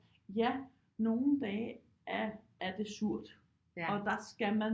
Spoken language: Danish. Ja nogle dage er det surt og der skal man